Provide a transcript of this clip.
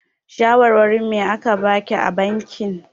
Shawarin me a ka baki a bankin?